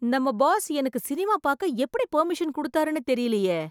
நம்ம பாஸ் எனக்கு சினிமா பார்க்க எப்படி பர்மிஷன் கொடுத்தாருன்னு தெரியலயே!